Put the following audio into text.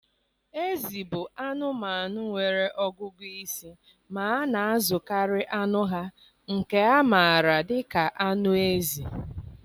Ezi bụ anụmanụ nwere ọgụgụ isi ma na-azụkarị anụ ha, nke a maara dị ka anụ ezi.